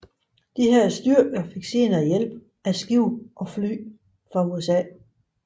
Disse styrker fik senere hjælp af skibe og fly fra USA